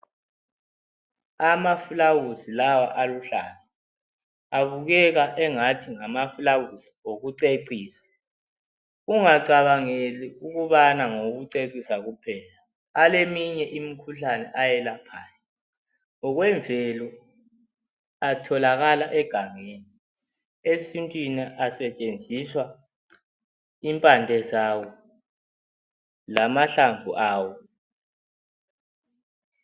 Amafulawuzi lawa aluhlaza abukeka sengathi ngamafulawizi okucecisa . Ungacabangeli ukuba ngawokucecisa kuphela. Aleminye imikhuhlane ayelaphayo , ngokwemvelo atholakala egangeni. Esintwini kusetshenziswa impande zawo lamahlamvu awo.